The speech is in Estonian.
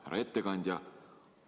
Härra ettekandja!